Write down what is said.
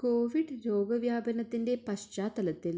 Covid രോഗ വ്യാപനത്തിന്റെ പശ്ചാത്തലത്തിൽ